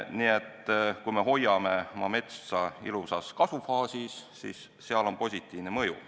Nii et kui me hoiame oma metsa ilusas kasvufaasis, siis sellel on positiivne mõju.